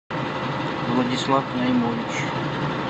владислав наймович